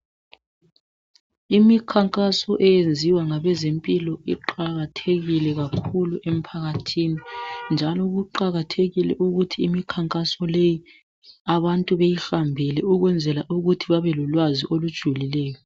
Imikhankaso eyenziwa ngabezempilo iqakathekile kakhulu emphakathini, njalo kuqakathekile ukuthi imikhankaso leyi abantu beyihambele ukwenzela ukuthi babelolwazi olujulileyo